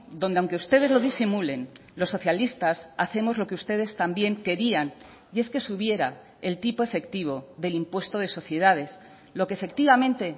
donde aunque ustedes lo disimulen los socialistas hacemos lo que ustedes también querían y es que subiera el tipo efectivo del impuesto de sociedades lo que efectivamente